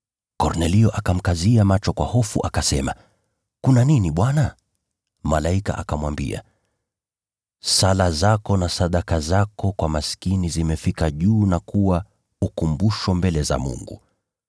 Kornelio akamkazia macho kwa hofu akasema, “Kuna nini, Bwana?” Malaika akamwambia, “Sala zako na sadaka zako kwa maskini zimefika juu na kuwa ukumbusho mbele za Mungu.